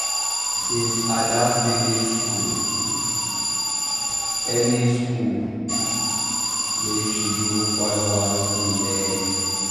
since ada finish school um early school um early make she go find one skill learn